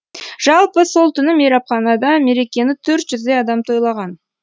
жалпы сол түні мейрамханада мерекені төрт жүздей адам тойлаған